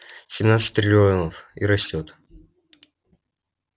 семнадцать триллионов и растёт